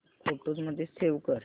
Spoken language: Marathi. फोटोझ मध्ये सेव्ह कर